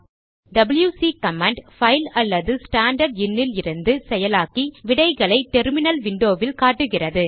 WC command file அல்லது standard இன் இலிருந்து செயலாக்கி விடைகளை டெர்மினல் விண்டோவில் காட்டுகிறது